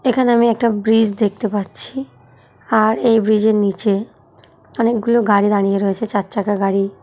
এখানে আমি একটা ব্রিজ দেখতে পাচ্ছি আর এই ব্রিজের নিচে অনেকগুলো গাড়ি দাঁড়িয়ে রয়েছে চার চাকা গাড়ি।